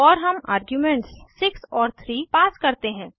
और हम आर्ग्यूमेंट्स 6 और 3 पास करते हैं